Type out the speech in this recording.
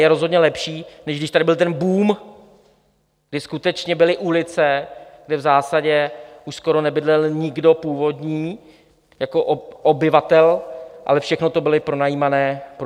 Je rozhodně lepší, než když tady byl ten boom, kdy skutečně byly ulice, kde v zásadě už skoro nebydlel, nikdo původní jako obyvatel, ale všechno to byly pronajímané byty.